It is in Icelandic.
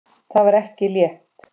Það var ekki létt.